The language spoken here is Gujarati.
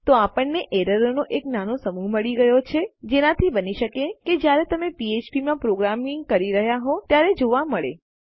તો આપણને એરરોનો એક નાનો સમૂહ મળી ગયો છે જેનાથી બની શકે કે જયારે તમે ફ્ફ્પ માં પ્રોગ્રામિંગ કરી રહ્યા હોવ ત્યારે જોવા મળે